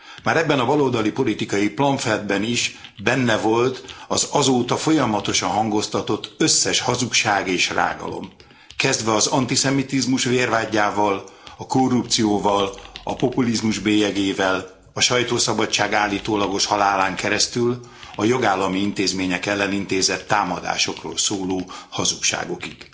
Már ebben a baloldali politikai plamfletben is benne volt az azóta folyamatosan hangoztatott összes hazugság és rágalom, kezdve az antiszemitizmus vérvádjával, a korrupcióval, a populizmus bélyegével, a sajtószabadság állítólagos halálán keresztül a jogállami intézmények ellen intézett támadásokról szóló hazugságokig.